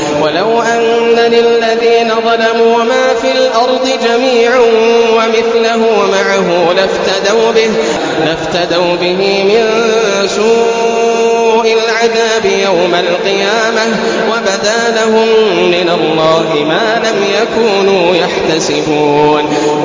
وَلَوْ أَنَّ لِلَّذِينَ ظَلَمُوا مَا فِي الْأَرْضِ جَمِيعًا وَمِثْلَهُ مَعَهُ لَافْتَدَوْا بِهِ مِن سُوءِ الْعَذَابِ يَوْمَ الْقِيَامَةِ ۚ وَبَدَا لَهُم مِّنَ اللَّهِ مَا لَمْ يَكُونُوا يَحْتَسِبُونَ